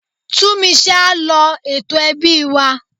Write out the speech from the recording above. Túnmise á lọ ètò ẹbí wa.